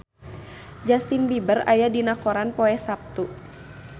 Justin Beiber aya dina koran poe Saptu